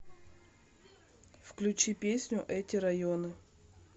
включи песню эти районы